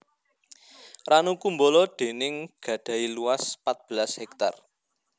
Ranu Kumbolo déning gadhahi luas pat belas hektar